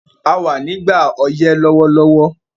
A wà nígbà ọyẹ́ lówólówó